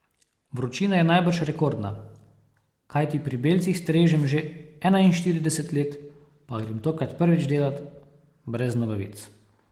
Vročina je najbrž rekordna, kajti pri belcih strežem že enainštirideset let, pa grem tokrat prvič delat brez nogavic.